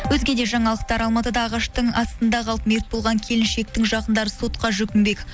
өзге де жаңалықтар алматыда ағаштың астында қалып мерт болған келіншектің жақындары сотқа жүгінбек